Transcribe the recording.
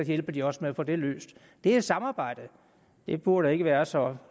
hjælper de også med at få det løst det er samarbejde det burde ikke være så